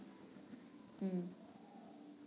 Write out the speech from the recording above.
হম